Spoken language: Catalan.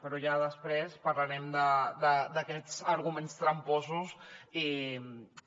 però ja després parlarem d’aquests arguments tramposos i que